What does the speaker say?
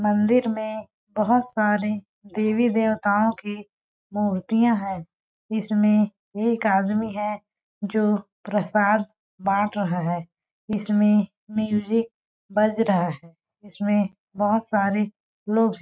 मन्दिर में बहोत सारे देवी- देवताओं के मूर्तियाँ है इसमें एक आदमी है जो प्रसाद बाँट रहा है इसमें म्यूजिक बज रहा है इसमें बहोत सारे लोग--